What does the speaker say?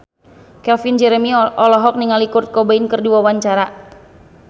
Calvin Jeremy olohok ningali Kurt Cobain keur diwawancara